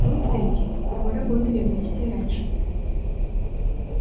пункт третий мы работали вместе и раньше